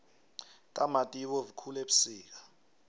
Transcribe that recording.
itamati ibovu khulu ebusika